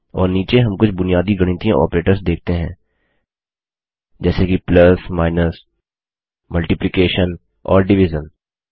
और नीचे हम कुछ बुनियादी गणितीय ऑपरेटर्स देखते हैं जैसे कि प्लस माइनसमल्टिप्लिकेशन और डिविजन